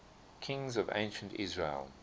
kings of ancient israel